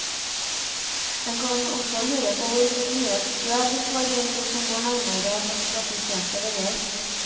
En kan også lure på hvor mye støv de får inn, de som bor nærmere hardt trafikkerte veier.